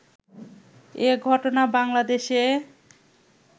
এ ঘটনা বাংলাদেশে